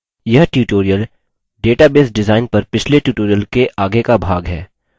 यह tutorial database design पर पिछले tutorial के आगे का भाग है